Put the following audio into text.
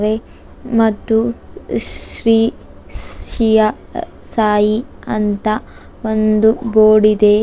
ಮತ್ತು ಶ್ರೀ ಸಿಯಾ ಸಾಯಿ ಅಂತ ಒಂದು ಬೋರ್ಡ್ ಇದೆ.